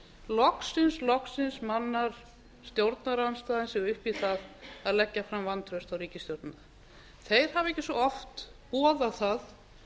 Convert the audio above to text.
loksins mannar stjórnarandstaðan sig upp í það að leggja fram vantraust á ríkisstjórnina þeir hafa ekki svo oft boðað það